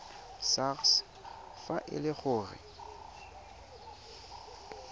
sars fa e le gore